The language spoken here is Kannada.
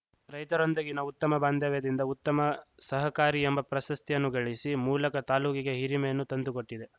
ರೈತರೊಂದಿಗಿನ ಉತ್ತಮ್ಮ ಬಾಂಧವ್ಯದಿಂದ ಉತ್ತಮ ಸಹಕಾರಿ ಎಂಬ ಪ್ರಶಸ್ತಿಯನ್ನು ಗಳಿಸಿ ಮೂಲಕ ತಾಲೂಕಿಗೆ ಹಿರಿಮೆಯನ್ನು ತಂದುಕೊಟ್ಟಿದೆ